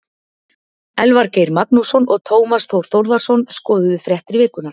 Elvar Geir Magnússon og Tómas Þór Þórðarson skoðuðu fréttir vikunnar.